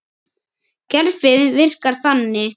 Kerfið virkar þannig.